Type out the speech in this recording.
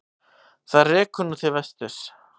Það rekur nú til vesturs.